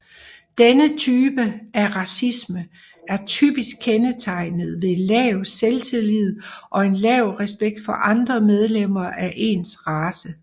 Denne type af racisme er typisk kendetegnet ved lav selvtillid og en lav respekt for andre medlemmer af ens race